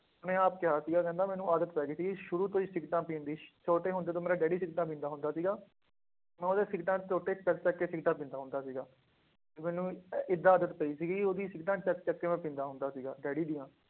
ਉਹਨੇ ਆਪ ਕਿਹਾ ਸੀਗਾ ਕਹਿੰਦਾ ਮੈਨੂੰ ਆਦਤ ਪੈ ਗਈ ਸੀਗੀ ਸ਼ੁਰੂ ਤੋਂ ਹੀ ਸਿਗਰਟਾਂ ਪੀਣ ਦੀ ਛੋਟੇ ਹੁੰਦੇ ਤੋਂ ਮੇਰਾ ਡੈਡੀ ਸਿਗਰਟਾਂ ਪੀਂਦਾ ਹੁੰਦਾ ਸੀਗਾ, ਮੈਂ ਉਹਦੇ ਸਿਗਰਟਾਂ ਦੇ ਟੋਟੇ ਚੁੱਕ ਚੁੱਕ ਕੇ ਸਿਗਰਟਾਂ ਪੀਂਦਾ ਹੁੰਦਾ ਸੀਗਾ, ਤੇ ਮੈਨੂੰ ਏਦਾਂ ਆਦਤ ਪਈ ਸੀਗੀ ਉਹਦੀ ਸਿਗਰਟਾਂ ਚੁੱਕ ਚੁੱਕ ਕੇ ਮੈਂ ਪੀਂਦਾ ਹੁੰਦਾ ਸੀਗਾ ਡੈਡੀ ਦੀਆਂ।